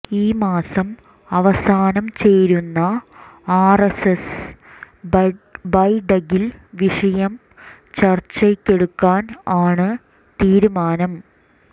ഈ മാസം അവസാനം ചേരുന്ന ആർഎസ്എസ് ബൈഠക്കിൽ വിഷയം ചർച്ചയ്ക്കെടുക്കാൻ ആണ് തീരുമാനം